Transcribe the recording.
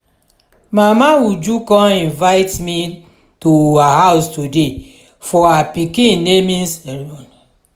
mama uju come invite me to her house today for her pikin naming ceremony